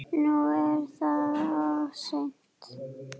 Nú er það of seint.